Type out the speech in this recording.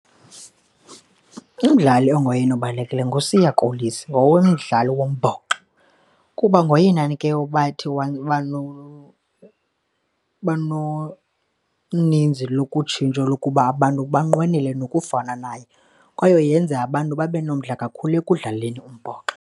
Umdlali ongoyena obalulekileyo nguSiya Kolisi ngokomdlalo wombhoxo kuba ngoyenani ke wathi noninzi lokutshintsha lokuba abantu banqwenele nokufana naye kwaye yenza abantu babe nomdla kakhulu ekudlaleni umbhoxo.